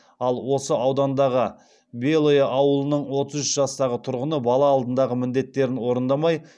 ал осы аудандағы белое ауылының отыз үш жастағы тұрғыны бала алдындағы міндеттерін орындамай